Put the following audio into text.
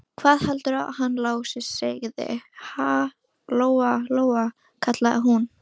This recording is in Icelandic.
Hvað heldurðu að hann Lási segði, ha, Lóa-Lóa, kallaði hún.